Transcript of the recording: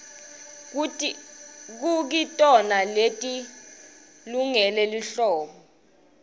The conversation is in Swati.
kukitona leti lungele lihlobo